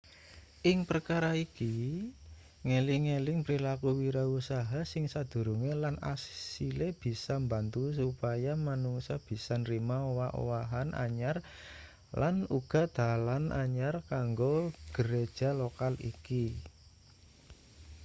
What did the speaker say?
ing perkara iki ngeling-eling prilaku wirausaha sing sadurunge lan asile bisa mbantu supaya manungsa bisa nrima owah-owahan anyar lan uga dalan anyar kanggo gereja lokal iki